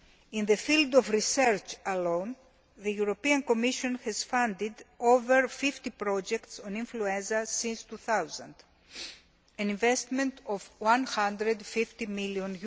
In the field of research alone, the European Commission has funded over 50 projects on influenza since 2000, an investment of EUR 150 million.